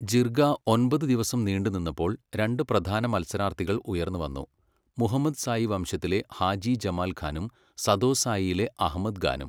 ജിർഗ ഒമ്പത് ദിവസം നീണ്ടുനിന്നപ്പോൾ രണ്ട് പ്രധാന മത്സരാർത്ഥികൾ ഉയർന്നുവന്നു, മുഹമ്മദ്സായി വംശത്തിലെ ഹാജി ജമാൽ ഖാനും സദോസായിയിലെ അഹ്മദ് ഖാനും.